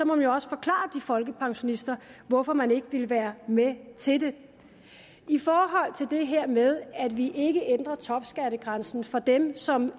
man jo også forklare de folkepensionister hvorfor man ikke vil være med til det i forhold til det her med at vi ikke ændrer topskattegrænsen for dem som